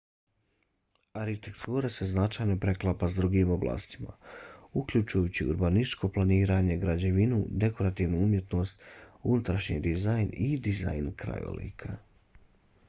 arhitektura se značajno preklapa s drugim oblastima uključujući urbanističko planiranje građevinu dekorativnu umjetnost unutrašnji dizajn i dizajn krajolika